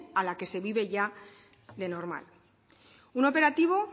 a la que se vive ya de normal un operativo